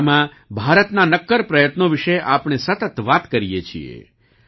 આ દિશામાં ભારતના નક્કર પ્રયત્નો વિશે આપણે સતત વાત કરીએ છીએ